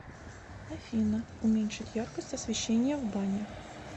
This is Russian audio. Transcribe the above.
афина уменьшить яркость освещения в бане